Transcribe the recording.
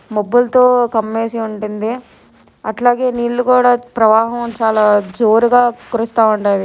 మబ్బులతో కమ్మేసి ఉండింది అట్లాగే నీళ్ళు కూడా ప్రవాహం చాలా జోరుగా కురుస్త ఉండది